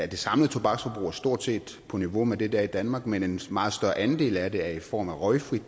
det samlede tobaksforbrug stort set på niveau med det der er i danmark men en meget større andel af det er i form af røgfri